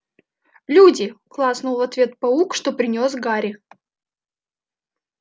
люди клацнул в ответ паук что принёс гарри